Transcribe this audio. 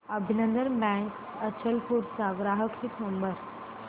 अभिनंदन बँक अचलपूर चा ग्राहक हित नंबर